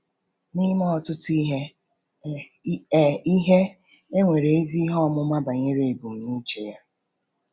N’ime ọtụtụ ihe, e ihe, e nwere ezi ihe ọmụma banyere ebumnuche Ya.